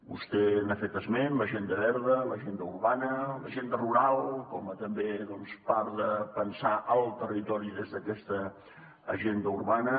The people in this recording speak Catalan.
vostè n’ha fet esment l’agenda verda l’agenda urbana l’agenda rural com també part de pensar el territori des d’aquesta agenda urbana